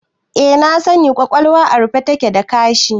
Eh na sani, ƙwaƙwalwa a rufe take da ƙashi